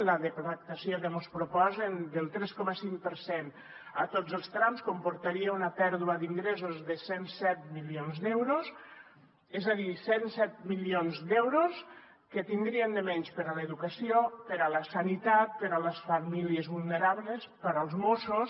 la deflactació que mos proposen del tres coma cinc per cent a tots els trams comportaria una pèrdua d’ingressos de cent i set milions d’euros és a dir cent i set milions d’euros que tindríem de menys per a l’educació per a la sanitat per a les famílies vulnerables per als mossos